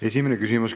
Esimene küsimus.